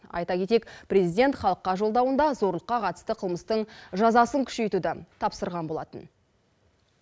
айта кетейік президент халыққа жолдауында зорлыққа қатысты қылмыстың жазасын күшейтуді тапсырған болатын